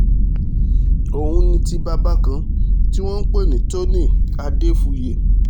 òun ni ti bàbá kan tí wọ́n ń pè ní tony adéfúye